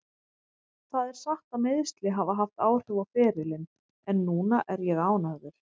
Það er satt að meiðsli hafa haft áhrif á ferilinn en núna er ég ánægður.